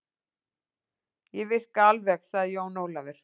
Ég virka alveg, sagði Jón Ólafur